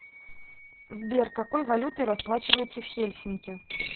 сбер какой валютой расплачиваются в хельсинки